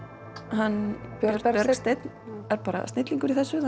hann Bergsteinn er snillingur í þessu